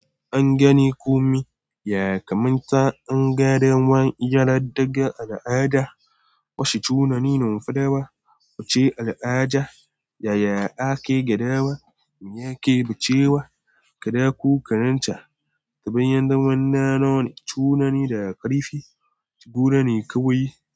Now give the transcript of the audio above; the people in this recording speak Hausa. An gane kumya kamar ta anga dawan, gyaradaga al'ada, bashe tunani, numfada, wuce al'ada, yayya ake gadawa, me ake bacewa, kada ku karanta, ta bayan damuwa nanoni, tunani da ƙarifi, guda ne kawai.